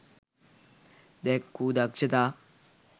දැක්වූ දක්ෂතා